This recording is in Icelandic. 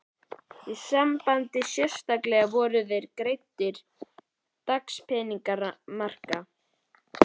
Í því sambandi sérstaklega voru greiddir dagpeningar maka?